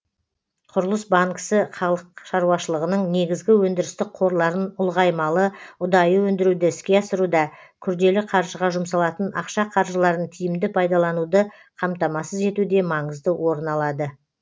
құрылыс банкісі халық шаруашылығының негізгі өндірістік қорларын ұлғаймалы ұдайы өндіруді іске асыруда күрделі қаржыға жұмсалатын ақша қаржыларын тиімді пайдалануды қамтамасыз етуде маңызды орын алады